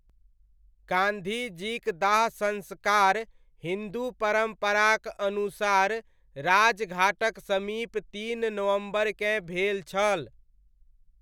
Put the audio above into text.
गांधीजीक दाह संस्कार हिन्दू परम्पराक अनुसार राज घाटक समीप तीन नवम्बरकेँ भेल छल।